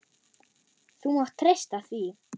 Þú mátt treysta því!